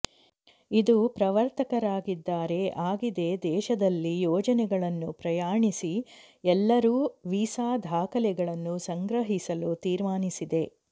ಇದು ಪ್ರವರ್ತಕರಾಗಿದ್ದಾರೆ ಆಗಿದೆ ದೇಶದಲ್ಲಿ ಯೋಜನೆಗಳನ್ನು ಪ್ರಯಾಣಿಸಿ ಎಲ್ಲರೂ ವೀಸಾ ದಾಖಲೆಗಳನ್ನು ಸಂಗ್ರಹಿಸಲು ತೀರ್ಮಾನಿಸಿದೆ